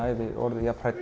orðið